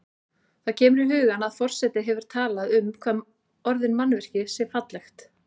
Það kemur í hugann að forseti hefur talað um hvað orðið mannvirki sé fallegt.